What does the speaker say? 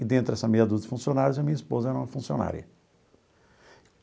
E dentro dessa meia dúzia de funcionários, a minha esposa era uma funcionária.